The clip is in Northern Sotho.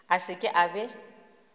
a se ke a be